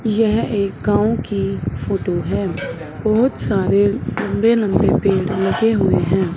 यह एक गांव की फोटो है बहोत सारे लंबे लंबे पेड़ लगे हुए हैं।